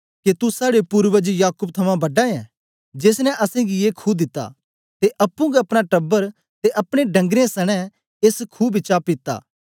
के तू साड़े पूर्वज याकूब थमां बडा ऐं जेस ने असेंगी ए खू दिता ते अप्पुं गै अपना टबर ते अपने डंगरें सनें एस खू बिचा पीता